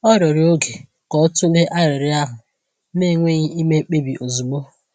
Ọ rịọrọ oge ka o tụlee arịrịọ ahụ, na-enweghị ime mkpebi ozugbo.